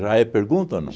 é pergunta ou não?